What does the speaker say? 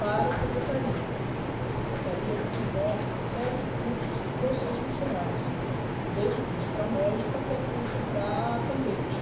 para a secretaria, porque a secretaria promove uma série de cursos para os seus funcionários, desde curso para médico até curso para atendente.